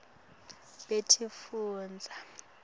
betifundza